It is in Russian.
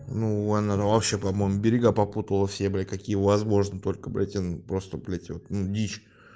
ну он вообще по-моему берега попутал все бля какие возможно только блять он просто блять ну дичь